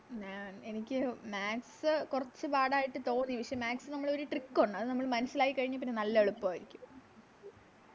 മ എനിക്ക് Maths കൊറച്ച് പാടായിട്ട് തോന്നി പക്ഷെ Maths ന് നമ്മളൊരു Trick ഒണ്ട് അത് നമ്മള് മനസ്സിലാക്കി കഴിഞ്ഞാപ്പിന്നെ നല്ല എളുപ്പവാരിക്കും